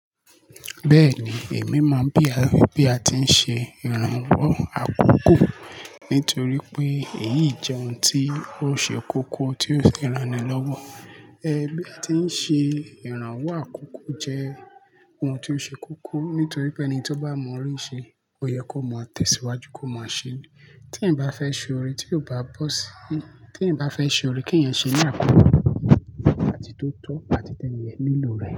Bẹ́ẹ̀ni, èmi mo ń bì àbí bí a ti ń ṣe ìrànwọ́ àkọ́kọ́, nítorí pé èyí jẹ́ oun tí ó ṣe kókó, tí ó ṣe ìranilọ́wọ́. Ẹ bí a ti ń ṣe ìrànwọ́ àkọ́kọ́ jẹ́ oun tí ó ṣe kókó, nítorí pé ẹni tí ó bá mọ re ṣe, ó yẹ kó mọ tẹ̀síwájú kó máa ṣe. Tí ẹ̀ bá fẹ́ ṣe oore tí ò bá bọ́ sí-- tí ẹ̀ bá fẹ́ ṣe oore kí ẹ̀ ṣe ní àpọ̀jù, láti tó tọ́ àti tẹ ènìyàn nílò rẹ̀.